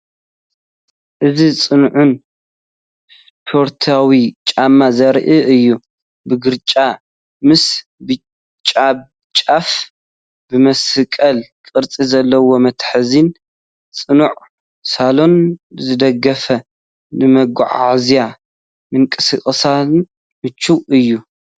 እዚ ጽኑዕን ስፖርታዊን ጫማ ዘርኢ እዩ። ብግራጭ ምስ ብጫ ጫፍ። ብመስቀል ቅርጺ ዘለዎ መትሓዚን ጽኑዕ ሶልን ዝድገፍ፤ ንመጓዓዝያን ምንቅስቓስን ምቹእ እዩ።